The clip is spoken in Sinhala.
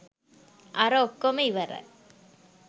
අර ඔක්කොම ඉවරයි